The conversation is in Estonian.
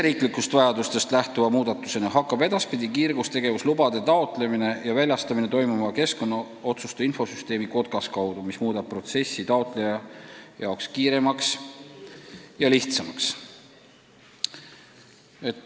Riigisisestest vajadustest lähtuva muudatusena hakkab edaspidi kiirgustegevuslubade taotlemine ja väljastamine toimuma keskkonnaotsuste infosüsteemi Kotkas kaudu, mis muudab protsessi taotleja jaoks kiiremaks ja lihtsamaks.